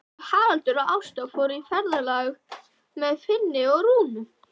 Haraldur og Ásta fóru í ferðalag með Finni og Rúnu.